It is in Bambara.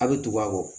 A bɛ tugu a kɔ